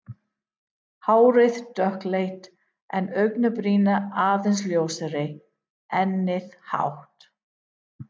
Hárið dökkleitt en augabrýrnar aðeins ljósari, ennið hátt.